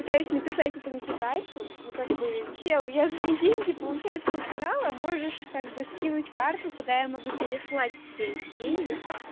пытаюсь написать этому китайцу ну как бы чел я твои деньги получается украла можешь как бы скинуть карту куда я могу переслать тебе эти деньги